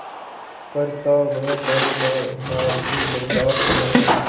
पर था वह पानीदार मार की बरदाश्त न थी